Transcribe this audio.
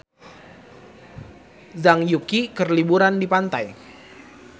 Zhang Yuqi keur liburan di pantai